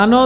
Ano.